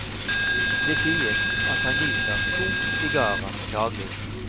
Det sies at han nyter to sigarer daglig.